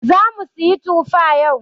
zamu siyi tufa yau.